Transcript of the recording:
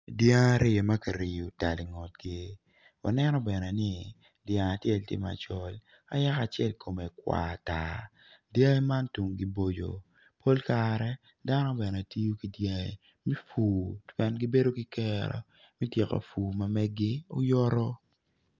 Dyangi aryo ma kiriyo tal i ngutgi wanenobene ni dyang acel kome tye macol ka yaka acel kome kwar tar dyangi man tungi boco. Pol kare dano bene tiyo ki dyangi me pur.